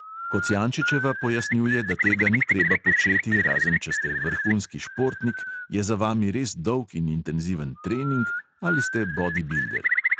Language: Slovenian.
Kocijančićeva pojasnjuje, da tega ni treba početi, razen če ste vrhunski športnik, je za vami res dolg in intenziven trening ali ste bodibilder.